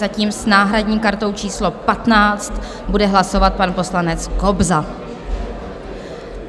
Zatím s náhradní kartou číslo 15 bude hlasovat pan poslanec Kobza.